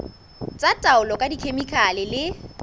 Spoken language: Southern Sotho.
tsa taolo ka dikhemikhale le